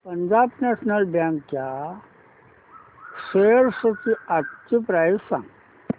Punjab national bank च्या shares आजची price सांगा